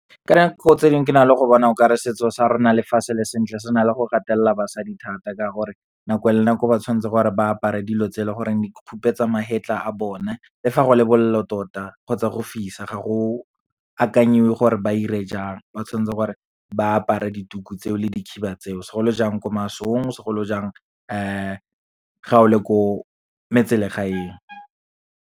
Ka dinako tse dingwe ke na le go bona okare setso sa rona le fa se le sentle se na le go gatelela basadi thata, ka gore nako le nako ba tshwanetse gore ba apare dilo tse leng gore di khupetsa mahetla a bone, le fa go le bolelo tota, kgotsa go fisa. Ga go akanyiwe gore ba ire jang, ba tshwantse gore ba apara di tuku tseo le di khiba tseo, segolo jang ko masong, segolo jang ga o le ko metselegaeng.